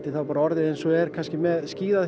þá bara orðið eins og er með